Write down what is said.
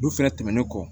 Olu fɛnɛ tɛmɛnen kɔ